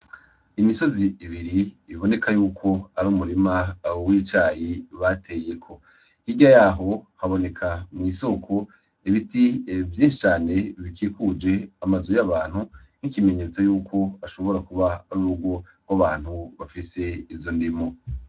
Imisozi ibiri iboneka yuko ar'umurima w'icayi bateyeko, hirya yaho haboneka mw'isoko ibiti vyinshi cane bikikuje amazu y'abantu n'ikimenyetso yuko ashobora kuba ar'urugo gw'abantu bafise izo ndimu.